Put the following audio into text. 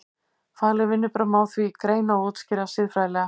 Fagleg vinnubrögð má því greina og útskýra siðfræðilega.